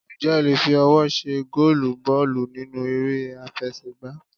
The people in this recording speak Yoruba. Ǹjẹ́ o le fi ọwọ́ ṣe gólùù bọ́ọ̀lù nínú eré àfẹsẹ̀ gbá?